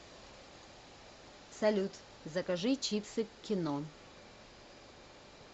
салют закажи чипсы к кино